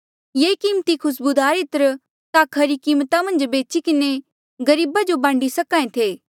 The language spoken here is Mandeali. ये कीमती खुस्बूदार इत्र ता खरी कीमता मन्झ बेची किन्हें गरीबा जो बांडी सक्हा ऐें थे